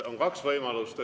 On kaks võimalust.